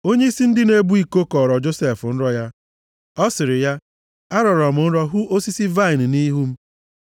Onyeisi ndị na-ebu iko kọọrọ Josef nrọ ya. Ọ sịrị ya, “Arọrọ m nrọ hụ osisi vaịnị nʼihu m.